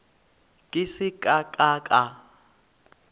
ke se ka ka ka